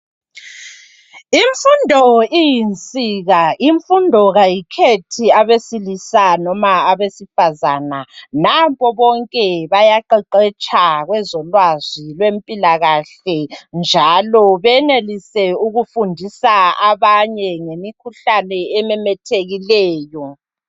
Imfundo iyinsika. Imfundo kayikhethi abesilisa noma abesifazana. Nampo bonke bayaqeqetsha kwezolwazi lwempilakahle. Njalo benelise ukufundisa abanye ngemikhuhlane ememethekileyo.